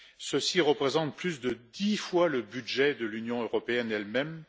Ceci représente plus de dix fois le budget de l'Union européenne elle même.